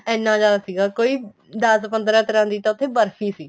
ਐਨਾ ਜਿਆਦਾ ਸੀਗਾ ਕੋਈ ਦੱਸ ਪੰਦਰਾਂ ਤਰ੍ਹਾਂ ਦੀ ਤਾਂ ਉੱਥੇ ਬਰ੍ਫ਼ੀ ਸੀ